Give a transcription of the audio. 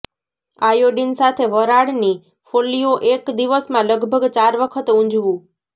iodine સાથે વરાળની ફોલ્લીઓ એક દિવસમાં લગભગ ચાર વખત ઊંજવું